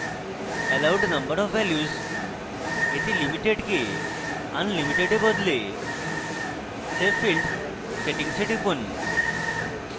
allowed number of values এ limited কে unlimited এ বদলে save field settings এ টিপুন